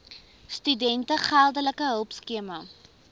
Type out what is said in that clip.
studente geldelike hulpskema